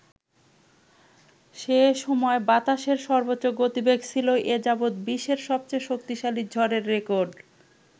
সেসময় বাতাসের সর্বোচ্চ গতিবেগ ছিল এ যাবৎ বিশ্বের সবচেয়ে শক্তিশালী ঝড়ের রেকর্ড।